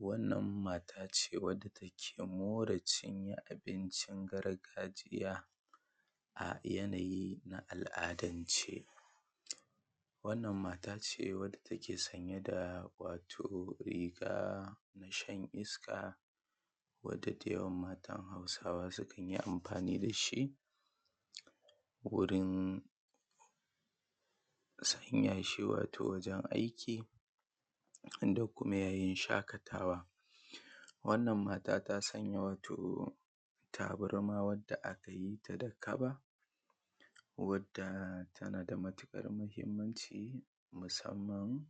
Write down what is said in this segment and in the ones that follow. wannan matace wanda take more cinye abincin gargajiya a yanayi na al’adance wannan mata ce wadda take sanye da wato riga nashan iska wadda dayawan matan hausawa sukan yi amfani dashi wurin sanyashi wato wajen aiki wadda kuma yayin shakatawa wannan mata ta sanya wato tabarma wanda akayita da kaba wadda tanada matukar mahimmanci musamman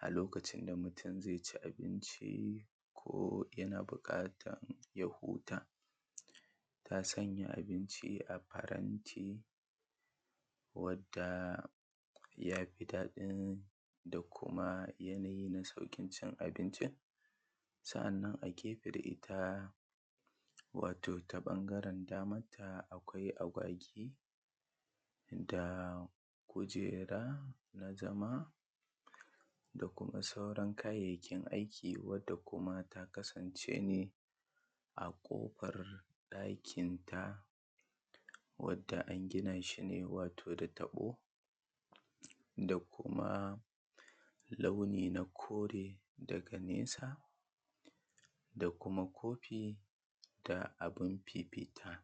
a lokacin da mutum zaici abinci ko yana bukatan ya huta ta sanya abinci a faranti wadda yafi daɗin da kuma yanayi na saukin cin abincin sa’annan a gefe da ita wato ta bangaren daman ta akai agwagi da kujera na zama da kuma sauran kayayyakin aiki wadda kuma ta kasance ne a kofar dakin ta wadda angina shine wato da taɓo da kuma launi na kore daga nesa da kuma kofi da abin fifita.